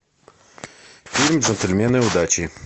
фильм джентльмены удачи